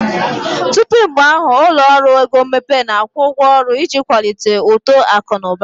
Tupu mgbe ahụ, ụlọ ọrụ ego mmepe na-akwụ ụgwọ ọrụ iji kwalite uto akụ na ụba.